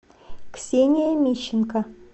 ксения мищенко